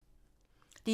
DR1